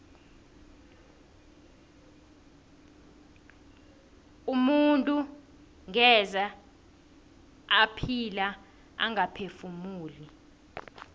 umuntu ngeze ephila angaphefumuli